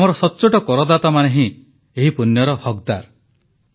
ଆମର ସଚ୍ଚୋଟ କରଦାତାମାନେ ହିଁ ଏହି ପୂଣ୍ୟର ହକଦାର